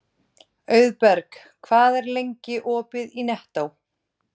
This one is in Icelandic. Auðberg, hvað er lengi opið í Nettó?